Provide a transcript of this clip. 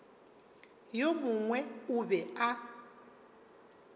yo mongwe o be a